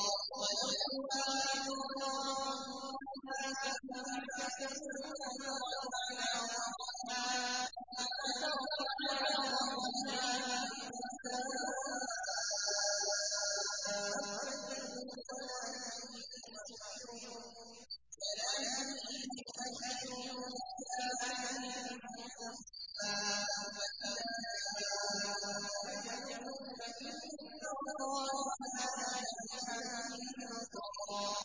وَلَوْ يُؤَاخِذُ اللَّهُ النَّاسَ بِمَا كَسَبُوا مَا تَرَكَ عَلَىٰ ظَهْرِهَا مِن دَابَّةٍ وَلَٰكِن يُؤَخِّرُهُمْ إِلَىٰ أَجَلٍ مُّسَمًّى ۖ فَإِذَا جَاءَ أَجَلُهُمْ فَإِنَّ اللَّهَ كَانَ بِعِبَادِهِ بَصِيرًا